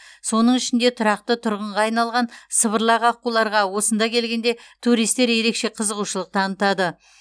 соның ішінде тұрақты тұрғынға айналған сыбырлақ аққуларға осында келгенде туристер ерекше қызығушылық танытады